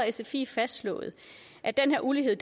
sfi fastslået at den her ulighed